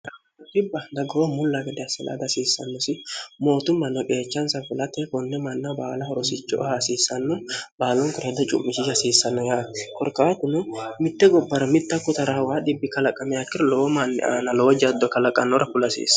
haribbadagoo mulla gade assilaada hasiissannosi mootummanno geechansa filate konne manna baala horosichoo haasiissanno baalonkorad cu'mishia hasiissanno ya korkaatuno mitte gobbara mitta kotarahwa dhibbi kalaqame akkira lowo manni aana lowo jaddo kalaqannora kulasiissa